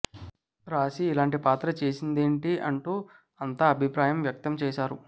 రాశి ఇలాంటి పాత్ర చేసింది ఏంటీ అంటూ అంతా అభిప్రాయం వ్యక్తం చేశారు